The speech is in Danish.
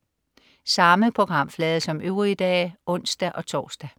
Samme programflade som øvrige dage (ons-tors)